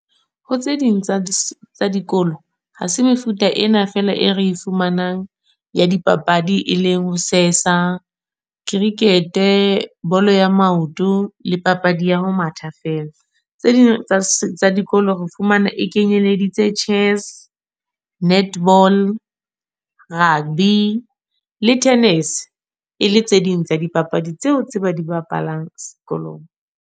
Ho tse ding tsa dikolo. Ha se mefuta ena fela e re e fumanang ya di papadi, e leng ho sesa, cricket-e, bolo ya maoto, le papadi ya ho matha fela. Tse ding tsa dikolo re fumana e kenyeleditse chess, netball, rugby, le tennis. E le tse ding tsa dipapadi tseo tse ba di babalang sekolong.